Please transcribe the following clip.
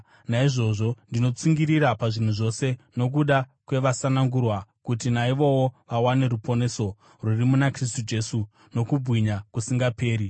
Naizvozvo ndinotsungirira pazvinhu zvose nokuda kwavasanangurwa, kuti naivowo vawane ruponeso rwuri muna Kristu Jesu, nokubwinya kusingaperi.